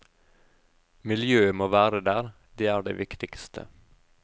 Miljøet må være der, det er det viktigste.